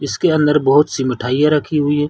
इसके अंदर बहोत सी मिठैया रखी हुई हैं।